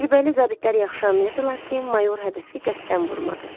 Təcrübəli zabitlər yaxşı anlayırdılar ki, mayor hədəfi qəsdən vurmadı.